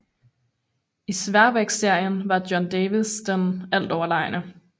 I sværvægtsserien var John Davis den altoverlegne